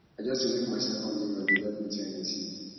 i just dey look myself for mirror dey love wetin i dey see